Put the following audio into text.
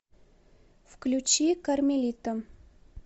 включи кармелита